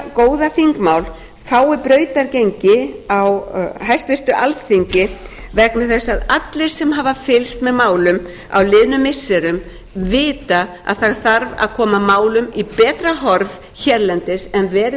góða þingmál fái brautargengi á háttvirtu alþingi vegna þess að allir sem hafa fylgst með málum á liðnum missirum vita að það þarf að koma málum í betra horf hérlendis en verið